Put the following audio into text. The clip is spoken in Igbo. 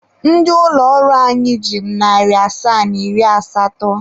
Ndị ụlọ ọrụ anyị ji m narị asaa na iri asatọ.